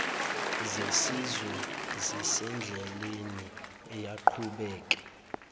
zesizwe zisendleleni uyaqhubeka